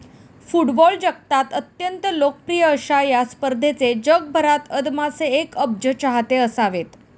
Football जगतात अत्यंत लोकप्रिय अश्या या स्पर्धेचे जगभरात अदमासे एक अब्ज चाहते असावेत.